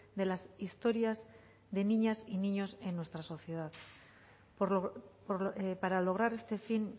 de las historias de niñas y niños en nuestra sociedad para lograr este fin